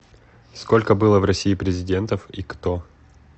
сколько было в россии президентов и кто